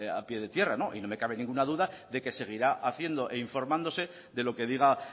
a pie de tierra no y no me cabe ninguna duda de que seguirá haciendo e informándose de lo que diga